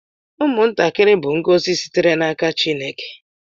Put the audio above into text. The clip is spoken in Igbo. Ụmụntakịrị bụ ngọzi sitere n’aka Chineke